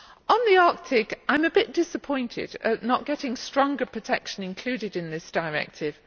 On the Arctic, I am a bit disappointed at not getting stronger protection included in this directive.